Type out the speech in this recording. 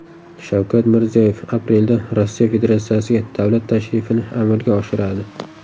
Shavkat Mirziyoyev aprelda Rossiya Federatsiyasiga davlat tashrifini amalga oshiradi .